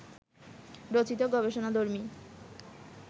রচিত গবেষণাধর্মী